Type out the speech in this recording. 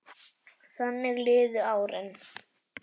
Þannig liðu árin.